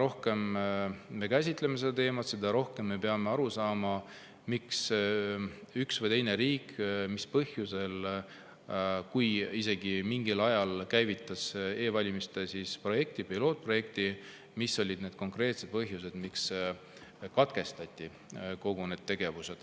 rohkem me seda teemat käsitleme, seda rohkem me peame aru saama, miks, mis konkreetsel põhjusel üks või teine riik, kui isegi mingil ajal käivitas e-valimiste pilootprojekti, ikkagi katkestas kõik need tegevused.